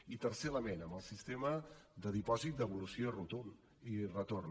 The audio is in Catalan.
i tercer element amb el sistema de dipòsit devolució i retorn